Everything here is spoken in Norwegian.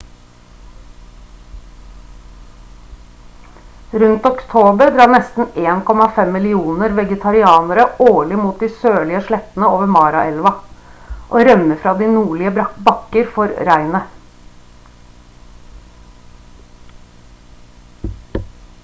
rundt oktober drar nesten 1,5 millioner vegetarianere årlig mot de sørlige slettene over mara-elva og rømmer fra de nordlige bakker for regnet